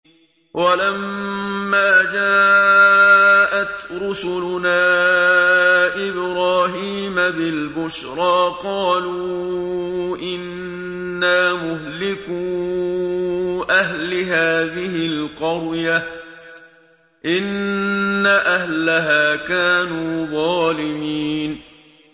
وَلَمَّا جَاءَتْ رُسُلُنَا إِبْرَاهِيمَ بِالْبُشْرَىٰ قَالُوا إِنَّا مُهْلِكُو أَهْلِ هَٰذِهِ الْقَرْيَةِ ۖ إِنَّ أَهْلَهَا كَانُوا ظَالِمِينَ